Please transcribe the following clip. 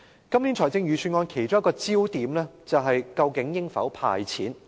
今年預算案的其中一個焦點是究竟應否"派錢"。